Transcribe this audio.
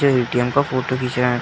जो ए.टी.एम. का फोटो खीच रहा --